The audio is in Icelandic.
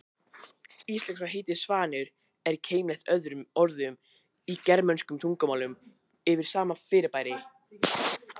Íslenska heitið svanur er keimlíkt öðrum orðum í germönskum tungumálum yfir sama fyrirbæri.